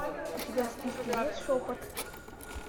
у тебя в списке есть шепот